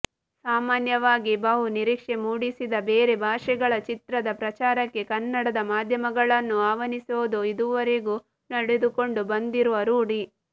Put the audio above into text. ಸಾಮಾನ್ಯವಾಗಿ ಬಹು ನಿರೀಕ್ಷೆ ಮೂಡಿಸಿದ ಬೇರೆ ಭಾಷೆಗಳ ಚಿತ್ರದ ಪ್ರಚಾರಕ್ಕೆ ಕನ್ನಡದ ಮಾಧ್ಯಮಗಳನ್ನೂ ಆಹ್ವಾನಿಸೋದು ಇದುವರೆಗೂ ನಡೆದುಕೊಂಡು ಬಂದಿರುವ ರೂಢಿ